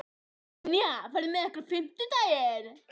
Ynja, ferð þú með okkur á fimmtudaginn?